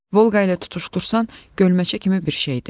Volqa ilə tutuşdursan gölməçə kimi bir şeydi.